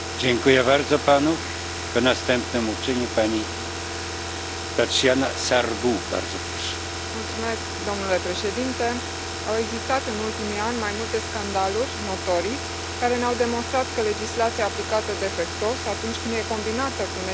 Domnule președinte, au existat în ultimii ani mai multe scandaluri notorii care ne au demonstrat că legislația aplicată defectuos, atunci când e combinată cu neglijența sau chiar cu infracțiunile unor producători, poate pune în pericol sănătatea și viețile pacienților.